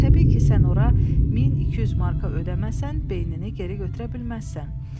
Təbii ki, sən ora 1200 marka ödəməsən beynini geri götürə bilməzsən.